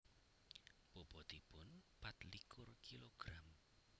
Bobotipun patlikur kilogram